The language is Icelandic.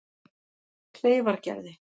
Kleifargerði